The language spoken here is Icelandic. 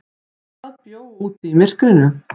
Hvað bjó úti í myrkrinu?